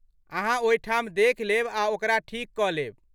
अहाँ ओहिठाम देखि लेब आ ओकरा ठीक कऽ लेब।